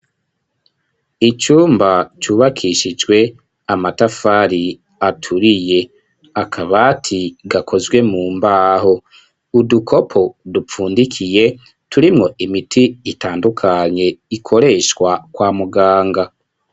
Icumba cubakishijwe amatafari aturiye, akabaati gakozwe mu mbaho, udukopo dupfundikiye turimwo imiti itandukanye ikoreshwa kwa muganga.